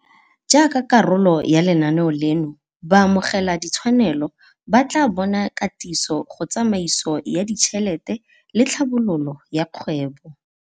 Jaaka karolo ya lenaneo leno, baamogeladitshwanelo ba tla bona katiso go tsamaiso ya ditšhelete le tlhabololo ya kgwebo.